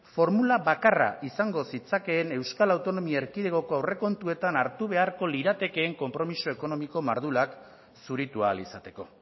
formula bakarra izango zitzakeen euskal autonomia erkidegoko aurrekontuetan hartu beharko liratekeen konpromiso ekonomiko mardulak zuritu ahal izateko